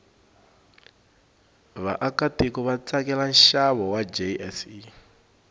vaakatiko vatsakela nshavo wajse